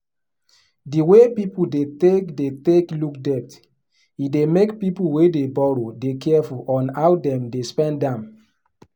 the way people dey take dey take look debt e dey make people wey dey boroow dey careful on how dem dey spend am